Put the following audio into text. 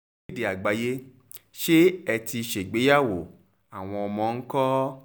akéde àgbáyé ṣé ẹ ti ṣègbéyàwó àwọn ọmọ ńkọ́